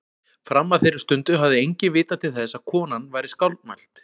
Fram að þeirri stundu hafði enginn vitað til þess að konan væri skáldmælt.